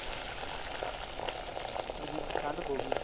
ਇਹਨੀਂ ਠੰਡ ਹੋ ਗਈ